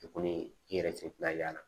I kɔni i yɛrɛ cɛ tina y'a la